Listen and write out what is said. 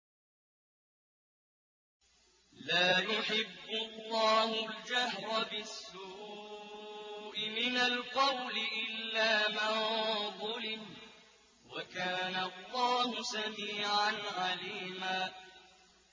۞ لَّا يُحِبُّ اللَّهُ الْجَهْرَ بِالسُّوءِ مِنَ الْقَوْلِ إِلَّا مَن ظُلِمَ ۚ وَكَانَ اللَّهُ سَمِيعًا عَلِيمًا